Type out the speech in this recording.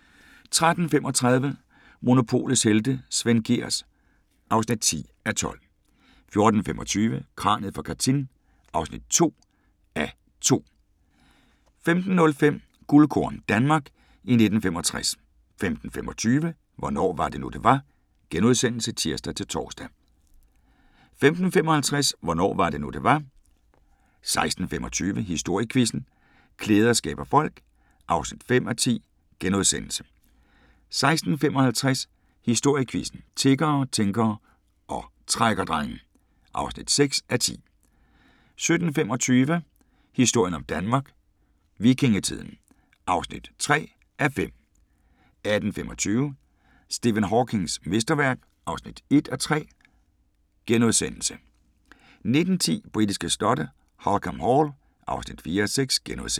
13:35: Monopolets helte - Svend Gehrs (10:12) 14:25: Kraniet fra Katyn (2:2) 15:05: Guldkorn - Danmark i 1965 15:25: Hvornår var det nu, det var? *(tir-tor) 15:55: Hvornår var det nu, det var? 16:25: Historiequizzen: Klæder skaber folk (5:10)* 16:55: Historiequizzen: Tiggere, tænkere og trækkerdrenge (6:10) 17:25: Historien om Danmark: Vikingetiden (3:5) 18:25: Stephen Hawkings mesterværk (1:3)* 19:10: Britiske slotte: Holkham Hall (4:6)*